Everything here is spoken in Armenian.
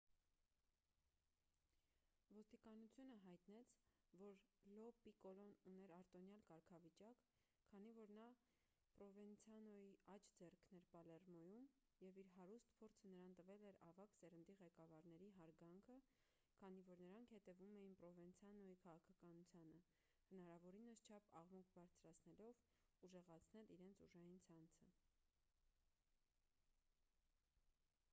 ոստիկանությունը հայտնեց որ լո պիկոլոն ուներ արտոնյալ կարգավիճակ քանի որ նա պրովենցանոյի աջ ձեռքն էր պալերմոյում և իր հարուստ փորձը նրան տվել էր ավագ սերնդի ղեկավարների հարգանքը քանի որ նրանք հետևում էին պրովենցանոյի քաղաքականությանը հնարավորինս քիչ աղմուկ բարձրացնելով ուժեղացնել իրենց ուժային ցանցը